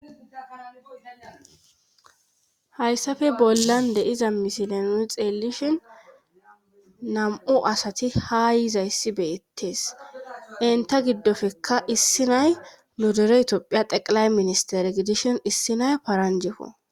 Hayssappe bollan deiza misileno xeelishin nam7u asati ha yiza yssi beyettees enta giddofekka issi nay nudure itophiya teqilay ministere gidishin issi nay paranjeko.